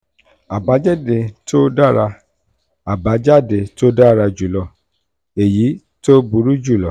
àbájáde tó dára àbájáde tó dára jù lọ/èyí tó burú jù lọ